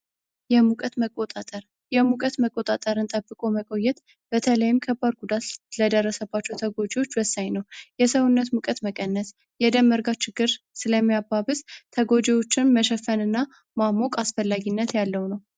የሙቀት መቆጣጠር የሙቀት መቆጣጠርን ጠብቆ መቆየት በተለይም ከባድ ጉዳት ለደረሰባቸው ሰዎች ወሳኝ ነው። የሰውነት ሙቀት መቀነስ ፣የደም መርጋት ችግር ስለሚያባብስ ተጎጂዎችን መሸፈን እና ማሞቅ ወሳኝነት ያለው ነው።